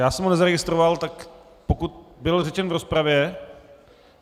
Já jsem ho nezaregistroval, tak pokud byl řečen v rozpravě?